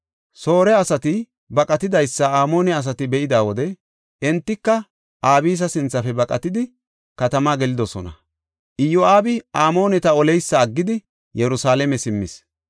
Soore asati baqatidaysa Amoone asati be7ida wode entika Abisa sinthafe baqatidi, katama gelidosona. Iyo7aabi Amooneta oleysa aggidi, Yerusalaame simmis.